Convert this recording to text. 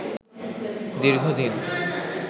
দীর্ঘ দিন